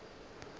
ga a hlabe ka go